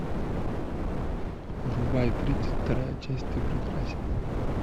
врубай тридцать вторая часть ты прекрасен